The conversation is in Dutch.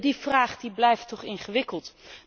Die vraag die blijft toch ingewikkeld.